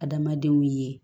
Adamadenw ye